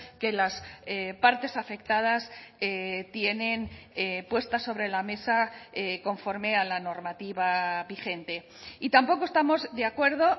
que las partes afectadas tienen puesta sobre la mesa conforme a la normativa vigente y tampoco estamos de acuerdo